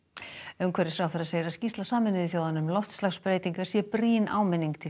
umhverfisráðherra segir að skýrsla Sameinuðu þjóðanna um loftslagsbreytingar sé brýn áminning til